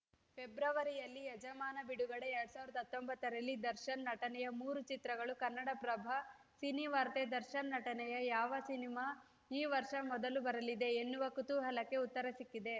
ಫೆಬ್ರವರಿಯಲ್ಲಿ ಯಜಮಾನ ಬಿಡುಗಡೆ ಎರಡ್ ಸಾವಿರದ ಹತ್ತೊಂಬತ್ತರಲ್ಲಿ ದರ್ಶನ್‌ ನಟನೆಯ ಮೂರು ಚಿತ್ರಗಳು ಕನ್ನಡಪ್ರಭ ಸಿನಿವಾರ್ತೆ ದರ್ಶನ್‌ ನಟನೆಯ ಯಾವ ಸಿನಿಮಾ ಈ ವರ್ಷ ಮೊದಲು ಬರಲಿದೆ ಎನ್ನುವ ಕುತೂಹಲಕ್ಕೆ ಉತ್ತರ ಸಿಕ್ಕಿದೆ